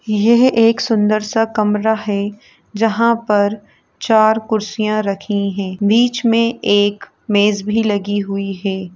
यह एक सुन्दर सा कमरा है जहाँं पर चार कुर्सियाँ रखीं हैं। बीच में एक मेज भी लगी हुई हे ।